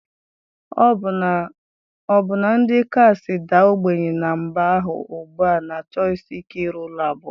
Ọbụna ndị kasị daa ogbenye ná mba ahụ ugbu a na-achọsi ike ịrụ ụlọ abụọ